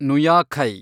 ನುಯಾಖೈ